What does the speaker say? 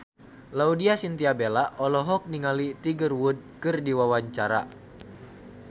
Laudya Chintya Bella olohok ningali Tiger Wood keur diwawancara